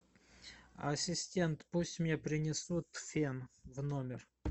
ассистент пусть мне принесут фен в номер